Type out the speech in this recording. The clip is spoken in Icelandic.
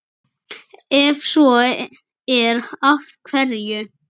Ef svo er, af hverju?